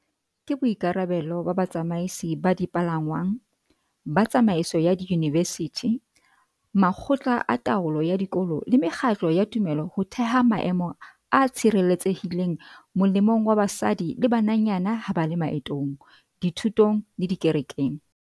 Ke boikarabelo ba batsamaisi ba dipalangwang, ba tsamaiso ya diyunivesithi, makgotla a taolo ya dikolo le mekgatlo ya tumelo ho theha maemo a tshireletsehileng molemong wa basadi le bananyana ha ba le maetong, dithutong le dikerekeng.